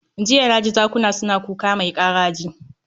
Jiya na ji zakuna suna kuka mai karaji